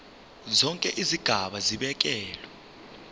zonke izigaba zibekelwe